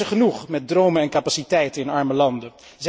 Mensen genoeg met dromen en capaciteiten in arme landen.